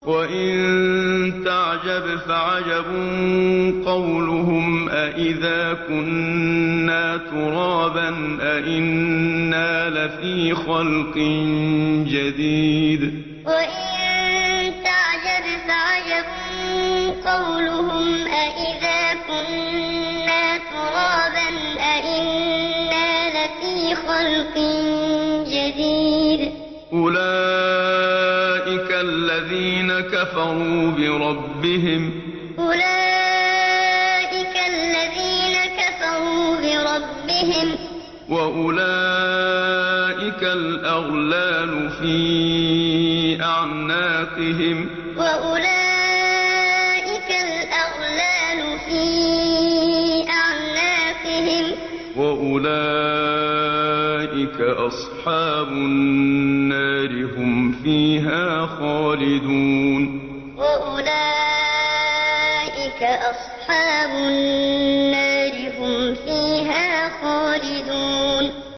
۞ وَإِن تَعْجَبْ فَعَجَبٌ قَوْلُهُمْ أَإِذَا كُنَّا تُرَابًا أَإِنَّا لَفِي خَلْقٍ جَدِيدٍ ۗ أُولَٰئِكَ الَّذِينَ كَفَرُوا بِرَبِّهِمْ ۖ وَأُولَٰئِكَ الْأَغْلَالُ فِي أَعْنَاقِهِمْ ۖ وَأُولَٰئِكَ أَصْحَابُ النَّارِ ۖ هُمْ فِيهَا خَالِدُونَ ۞ وَإِن تَعْجَبْ فَعَجَبٌ قَوْلُهُمْ أَإِذَا كُنَّا تُرَابًا أَإِنَّا لَفِي خَلْقٍ جَدِيدٍ ۗ أُولَٰئِكَ الَّذِينَ كَفَرُوا بِرَبِّهِمْ ۖ وَأُولَٰئِكَ الْأَغْلَالُ فِي أَعْنَاقِهِمْ ۖ وَأُولَٰئِكَ أَصْحَابُ النَّارِ ۖ هُمْ فِيهَا خَالِدُونَ